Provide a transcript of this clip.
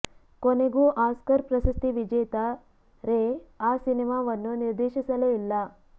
ಕೊನೆಗೂ ಆಸ್ಕರ್ ಪ್ರಶಸ್ತಿ ವಿಜೇತ ರೇ ಆ ಸಿನಿಮಾವನ್ನು ನಿರ್ದೇಶಿಸಲೇ ಇಲ್ಲ